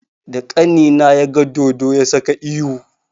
Da ƙanina ya ga dodo, ya saka ihu.